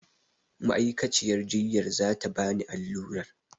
Ma'aikaciyar jiyyar za ta bani allurar.